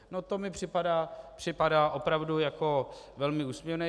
No to mi připadá opravdu jako velmi úsměvné.